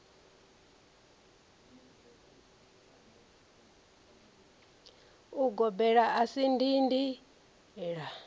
ugobela a si dindi la